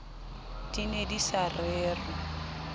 di ne di sa rerwa